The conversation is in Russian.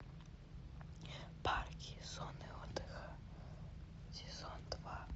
парки и зоны отдыха сезон два